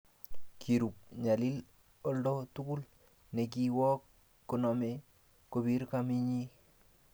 Kirub nyalil oldo togul ne ki wok koname kopir kamenyii